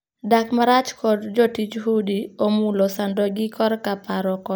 Dak marach kod jotij udi omulo sandogi korka paro kod del.